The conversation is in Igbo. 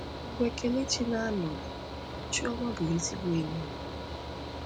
Mgbe Kelechi na-anọghị, Chioma bụ ezigbo enyi m.